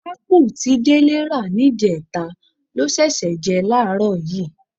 Ápù tí Délé rà níjẹta ló ṣẹ̀ṣẹ̀ jẹ láàárọ̀ yìí.